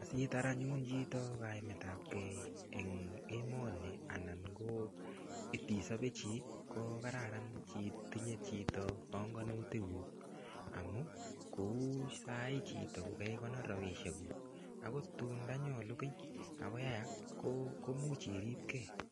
Asitar anyun chito kaimetabke eng emoni anan ko itisobe chii kokararan itinye chito bongonutik kuk amu kou sai chito kokeikonor ropisiek kuk akot tun ndanyolu kiy akoyayak ko komuch iripkee.